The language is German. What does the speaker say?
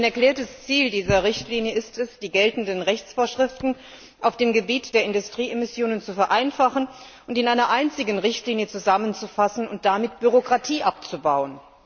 Ein erklärtes Ziel dieser Richtlinie ist es, die geltenden Rechtsvorschriften auf dem Gebiet der Industrieemissionen zu vereinfachen und in einer einzigen Richtlinie zusammenzufassen und damit Bürokratie abzubauen.